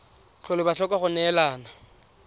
tlhole ba tlhoka go neelana